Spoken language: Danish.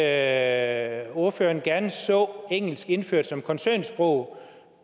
at ordføreren gerne så engelsk indført som koncernsprog